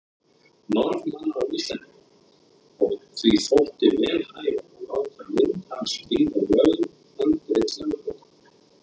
Norðmanna og Íslendinga, og því þótti vel hæfa að láta mynd hans prýða handrit lögbóka.